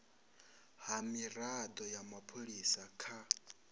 ha mirado ya mapholisa kha